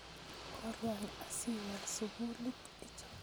Kolya asiiwal sukulit?